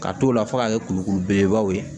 K'a t'o la fo ka kɛ kulukuru belebeleba ye